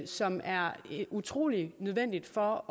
som er utrolig nødvendig for